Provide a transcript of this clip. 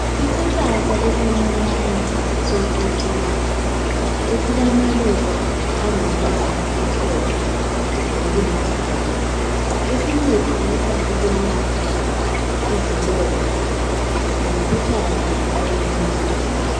Isihlahla esincinyane socucuza esilamaluba angumbala omhlophe nokulithanga esincedisa ukwelapha izilonda lomkhuhlane wenyongo.